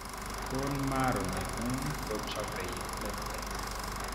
Bone marrow neng'ung' kochobe platelets